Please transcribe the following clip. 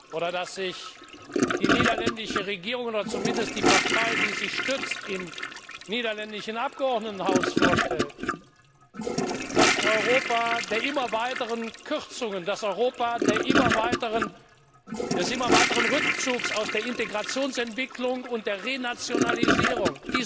vorstellt, oder das sich die niederländische Regierung oder zumindest die Partei, die sie im niederländischen Abgeordnetenhaus stützt vorstellt das Europa der immer weiteren Kürzungen, das Europa des immer weiteren Rückzugs aus der Integrationsentwicklung und das Europa der Renationalisierung.